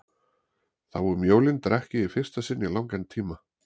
Þá um jólin drakk ég í fyrsta sinn í langan tíma.